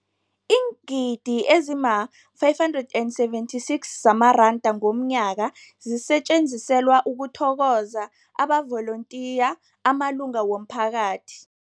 Iingidi ezima-576 zamaranda ngomnyaka zisetjenziselwa ukuthokoza amavolontiya amalunga womphakathi.